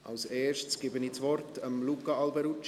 Zuerst gebe ich das Wort Luca Alberucci.